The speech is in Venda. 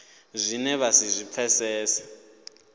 zwine vha si zwi pfesese